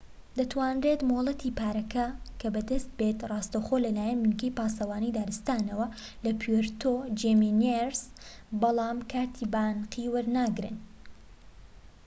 دەتوانرێت مۆڵەتی پارکەکە بەدەست بێت ڕاستەوخۆ لەلایەن بنکەی پاسەوانی دارستانەوە لە پوێرتۆ جیمینێز بەڵام کارتی بانقی وەرناگرن